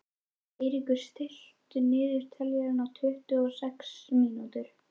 Eiríkur, stilltu niðurteljara á tuttugu og sex mínútur.